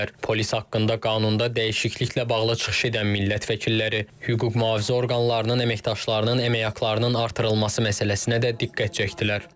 Polis haqqında qanunda dəyişikliklə bağlı çıxış edən millət vəkilləri hüquq mühafizə orqanlarının əməkdaşlarının əmək haqlarının artırılması məsələsinə də diqqət çəkdilər.